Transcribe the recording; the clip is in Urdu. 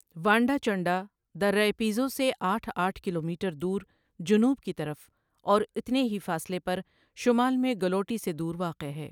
وانڈہ چنڈہ درہ پیزو سے آٹهہ آٹھ کلومیٹر دور جنوب کی طرف اور اتنے ہی فاصلے پر شمال میں گلوٹی سے دور واقع ہے۔